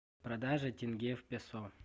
продажа тенге в песо